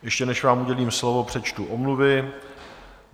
Ještě než vám udělím slovo, přečtu omluvy.